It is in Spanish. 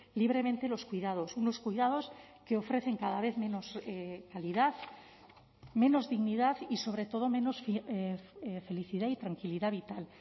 libremente los cuidados unos cuidados que ofrecen cada vez menos calidad menos dignidad y sobre todo menos felicidad y tranquilidad vital